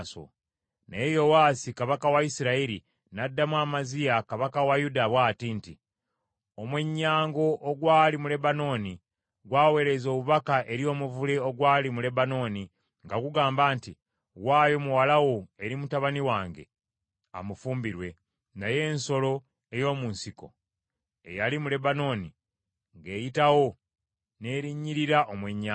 Naye Yowaasi kabaka wa Isirayiri n’addamu Amaziya kabaka wa Yuda bw’ati nti, “Omwennyango ogwali mu Lebanooni gw’aweereza obubaka eri omuvule ogwali mu Lebanooni, nga gugamba nti, ‘Waayo muwala wo eri mutabani wange, amufumbirwe,’ naye ensolo ey’omu nsiko eyali mu Lebanooni, ng’eyitawo, n’erinnyirira omwennyango.